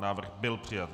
Návrh byl přijat.